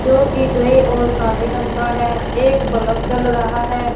जो की ग्रे और काले रंग का हैं एक बल्ब जल रहा हैं।